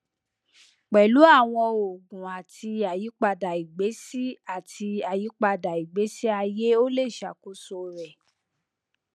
pẹlu awọn oogun ati ayipada igbesi ati ayipada igbesi aye o le ṣakoso rẹ